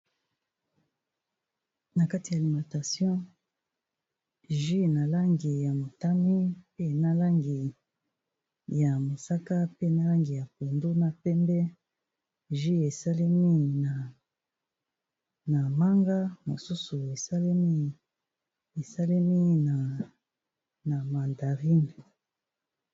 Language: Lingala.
Na kati ya alimentation jus na langi ya motane, pe na langi ya mosaka, pe na langi ya pondu, na pembe. Jus esalemi na manga, mosusu esalemi na mandarine.